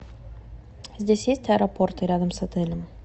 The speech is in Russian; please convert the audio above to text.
здесь есть аэропорты рядом с отелем